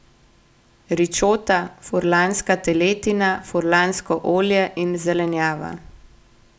Ričota, furlanska teletina, furlansko olje in zelenjava ...